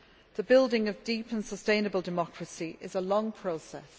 The building of deep and sustainable democracy is a long process.